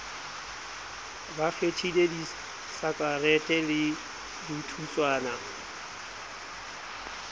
ba kgethile disakarete le dithutswana